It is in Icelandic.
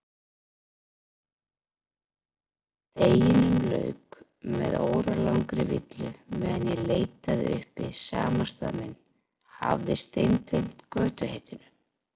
Deginum lauk með óralangri villu meðan ég leitaði uppi samastað minn, hafði steingleymt götuheitinu.